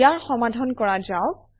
ইয়াৰ সমাধান কৰা যাওক